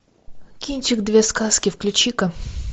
кинчик две сказки включи ка